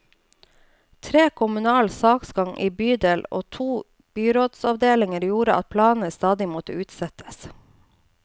Treg kommunal saksgang i bydel og to byrådsavdelinger gjorde at planene stadig måtte utsettes.